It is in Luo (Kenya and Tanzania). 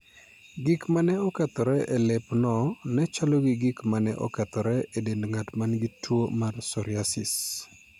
Gik ma ne okethore e lepno ne chalo gi gik ma ne okethore e dend ng'at ma nigi tuo mar psoriasis.